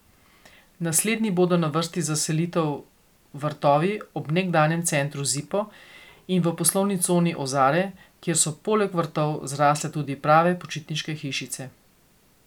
Naslednji bodo na vrsti za selitev vrtovi ob nekdanjem centru Zipo in v poslovni coni Ozare, kjer so poleg vrtov zrasle tudi prave počitniške hišice.